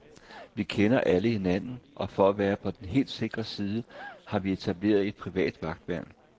Vi kender alle hinanden og for at være på den helt sikre side, har vi etableret et privat vagtværn.